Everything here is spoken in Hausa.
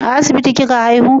A asibiti kika haihu?